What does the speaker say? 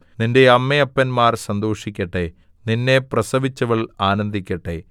നിന്റെ അമ്മയപ്പന്മാർ സന്തോഷിക്കട്ടെ നിന്നെ പ്രസവിച്ചവൾ ആനന്ദിക്കട്ടെ